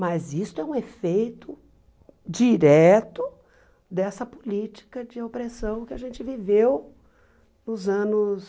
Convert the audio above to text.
Mas isso é um efeito direto dessa política de opressão que a gente viveu nos anos